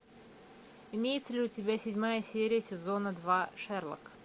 имеется ли у тебя седьмая серия сезона два шерлок